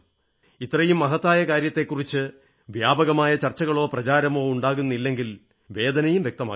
ഇത്രയും മഹത്തായ കാര്യത്തെക്കുറിച്ച് വ്യാപകമായ ചർച്ചകളോ പ്രചാരമോ ഉണ്ടാകുന്നില്ലെന്നതിൽ വേദനയും വ്യക്തമാക്കി